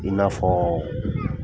I n'afɔ